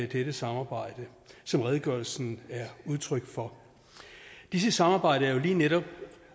dette samarbejde som redegørelsen er udtryk for dette samarbejde er jo lige netop